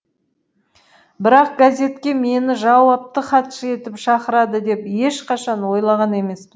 бірақ газетке мені жауапты хатшы етіп шақырады деп ешқашан ойлаған емеспін